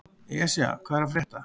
Esja, hvað er að frétta?